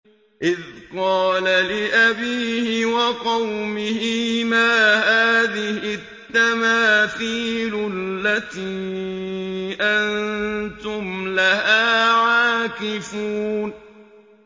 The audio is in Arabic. إِذْ قَالَ لِأَبِيهِ وَقَوْمِهِ مَا هَٰذِهِ التَّمَاثِيلُ الَّتِي أَنتُمْ لَهَا عَاكِفُونَ